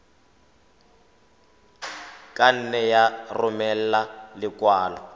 ka nne ya romela lekwalo